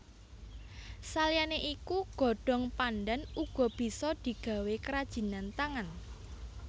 Saliyané iku godhong pandhan uga bisa digawé kerajinan tangan